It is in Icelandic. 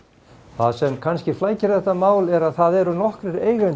það sem kannski flækir þetta mál er að það eru nokkrir eigendur